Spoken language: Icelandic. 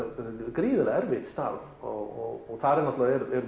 gríðarlega erfitt starf og þar er